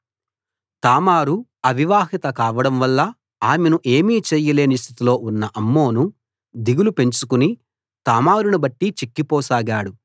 తామారు అవివాహిత కావడంవల్ల ఆమెను ఏమీ చేయలేని స్థితిలో ఉన్న అమ్నోను దిగులు పెంచుకుని తామారును బట్టి చిక్కిపోసాగాడు